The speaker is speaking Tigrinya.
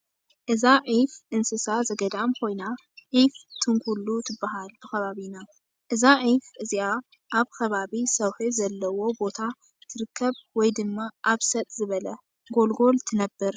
እዛ ዒፍ እንስሳ ዘገዳም ኮይና ዒፍ ትንኩሉ ትባሃል ብከባቢና። እዛ ዒፍ እዚኣ ኣብ ከባበ ሰውሒ ዘለዎ ቦታ ትርከብ ወይ ድማ ኣብ ሰጥ ዝበለ ጎልጎል ትነብር።